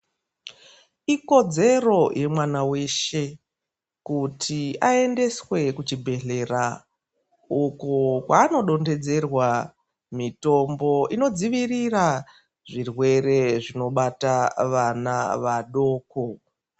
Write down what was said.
Ikodzero yemwana weshe kuti ayendeswe kuzvibhedhlera uko ano donhedzerwa mitombo inodzivirira zvirwere zvinobata vana vadoko.